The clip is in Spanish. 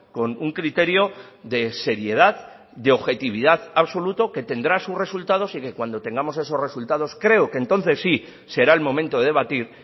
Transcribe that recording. con un criterio de seriedad de objetividad absoluto que tendrá sus resultados y que cuando tengamos esos resultados creo que entonces sí será el momento de debatir